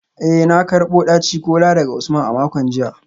Eh na karbo daci-kola daga Usman a makon jiya